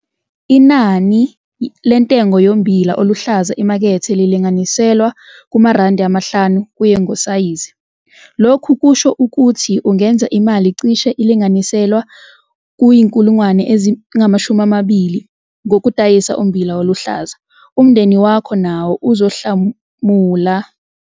Inani lentengo yommbila oluhlaza emakethe lingalinganiselwa ku-R5 kuye ngosayizi. Lokhu kusho ukuthi ungenza imali cishe elinganiselwa ku-20 000 ngokudayisa ummbila oluhlaza. Umndeni wakho nawo uzohlomula ngamanyuthriyenti okudla ummbila oluhlazi etafuleni lendlu yokudlela.